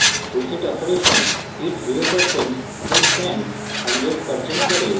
reset operation heat 0% এবং fan 100% করে